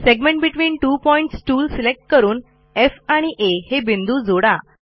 segments between two points tool select करून F आणि आ हे बिंदू जोडा